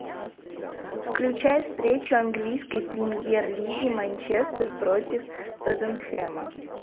включай встречу английской премьер лиги манчестер против тоттенхэма